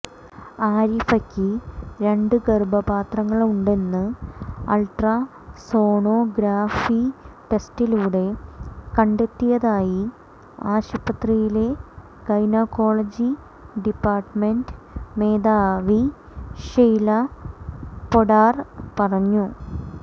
ആരിഫയ്ക്ക് രണ്ട് ഗർഭപാത്രങ്ങളുണ്ടെന്ന് അൾട്രാസോണോഗ്രഫി ടെസ്റ്റിലൂടെ കണ്ടെത്തിയതായി ആശുപത്രിയിലെ ഗൈനക്കോളജി ഡിപ്പാർട്ട്മെന്റ് മേധാവി ഷെയ്ല പൊഡ്ഡാർ പറഞ്ഞു